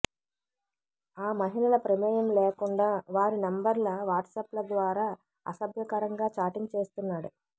ఆ మహిళల ప్రమేయం లేకుండా వారి నెంబర్ల వాట్సాప్ల ద్వారా అసభ్యకరంగా చాటింగ్ చేస్తున్నాడు